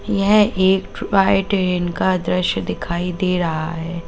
यह एक toy train का दृश्य दिखाई दे रहा है।